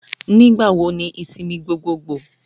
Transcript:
Nígbà wo ni ìsinmi gbogboògbò.?